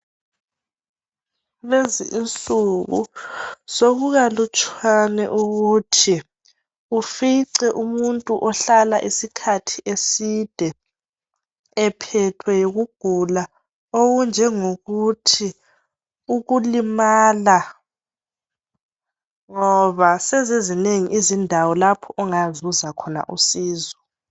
Lezi insuku sokukalutshwane ukuthi ufice umuntu ohlala isikhathi eside ephethwe yikugula, okunjengokuthi ukulimala ngoba sezizinengi izindawo lapho ongazuza khona usizo.